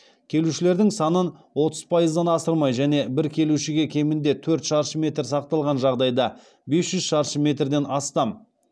келушілердің санын отыз пайыздан асырмай және бір келушіге кемінде төрт шаршы метр сақталған жағдайда бес жүз шаршы метрден астам